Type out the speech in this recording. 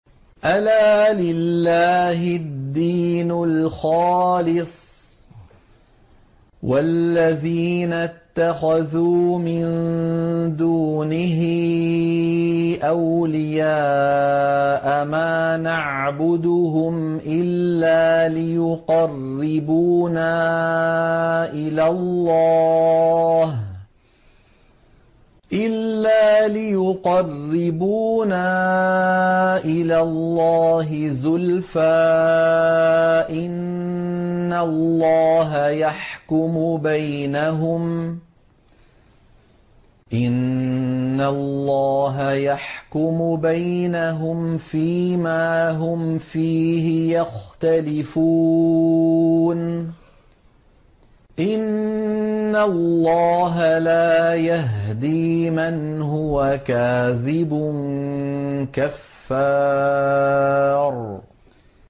أَلَا لِلَّهِ الدِّينُ الْخَالِصُ ۚ وَالَّذِينَ اتَّخَذُوا مِن دُونِهِ أَوْلِيَاءَ مَا نَعْبُدُهُمْ إِلَّا لِيُقَرِّبُونَا إِلَى اللَّهِ زُلْفَىٰ إِنَّ اللَّهَ يَحْكُمُ بَيْنَهُمْ فِي مَا هُمْ فِيهِ يَخْتَلِفُونَ ۗ إِنَّ اللَّهَ لَا يَهْدِي مَنْ هُوَ كَاذِبٌ كَفَّارٌ